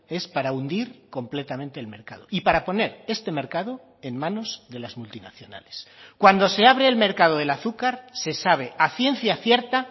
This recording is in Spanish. es para hundir completamente el mercado y para poner este mercado en manos de las multinacionales cuando se abre el mercado del azúcar se sabe a ciencia cierta